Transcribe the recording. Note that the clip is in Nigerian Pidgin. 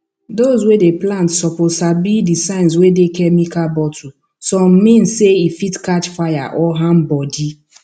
those wey dey plant suppose sabi the signs wey dey chemical bottlesome mean say e fit catch fire or harm body